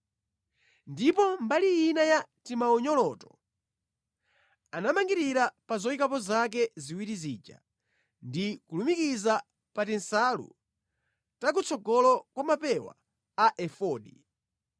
Ndipo mbali ina ya timaunyoloto anamangirira pa zoyikapo zake ziwiri zija, ndi kulumikiza pa tinsalu takutsogolo kwa mapewa a efodi.